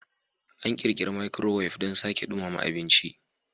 An ƙirƙira microwave don sake dumama abinci.